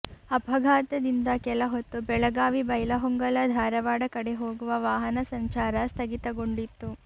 ಅಪಘಾತದಿಂದ ಕೆಲಹೊತ್ತು ಬೆಳಗಾವಿ ಬೈಲಹೊಂಗಲ ಧಾರವಾಡ ಕಡೆ ಹೋಗುವ ವಾಹನ ಸಂಚಾರ ಸ್ಥಗಿತಗೊಂಡಿತ್ತು